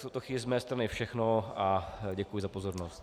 V tuto chvíli z mé strany všechno a děkuji za pozornost.